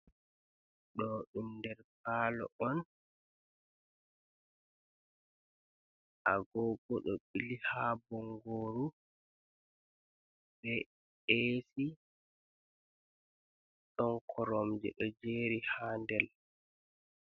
Ɗo ɗum nder palo on, agogo do ɓili ha bongoru, be esi don koromje ɗo jeri ha ndel.